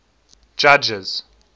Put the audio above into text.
judges